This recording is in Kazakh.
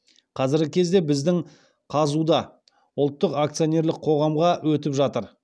қазіргі кезде біздің қазұу да ұлттық акционерлік қоғамға өтіп жатыр